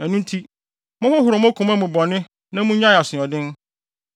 Ɛno nti, monhohoro mo koma mu bɔne na munnyae asoɔden no.